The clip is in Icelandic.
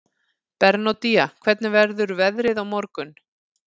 Bernódía, hvernig verður veðrið á morgun?